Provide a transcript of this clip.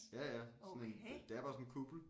Ja ja sådan en det er bare sådan en kuppel